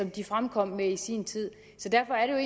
de fremkom med i sin tid derfor er